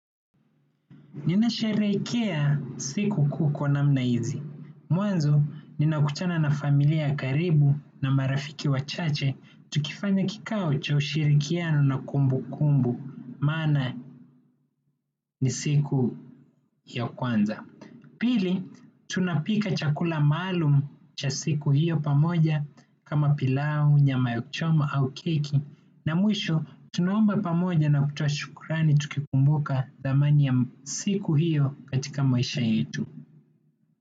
Ninasherehekea sikukuu namna hizi. Mwanzo ninakutana na familia ya karibu na marafiki wachache tukifanya kikao cha ushirikiano kumbukumbu maana ni siku ya kwanza. Pili, tunapika chakula maalum cha siku hiyo pamoja kama pilau, nyama yakuchoma au keki na mwisho tunaomba pamoja na kutoa shukrani tukikumbuka dhamani ya siku hiyo katika maisha yetu.